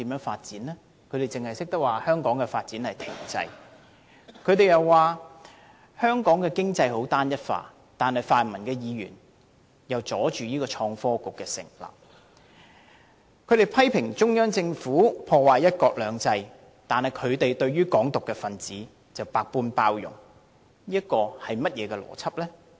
泛民議員只懂說香港發展停滯，又說香港經濟十分單一化，但他們卻阻礙創新及科技局的成立；他們批評中央政府破壞"一國兩制"，但對"港獨"分子卻百般包容，這是怎樣的邏輯呢？